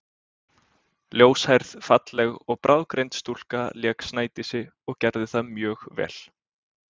Ljóshærð, falleg og bráðgreind stúlka lék Snædísi og gerði það mjög vel.